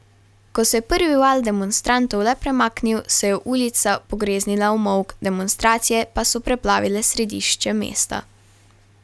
Ko se je prvi val demonstrantov le premaknil, se je ulica pogreznila v molk, demonstracije pa so preplavile središče mesta.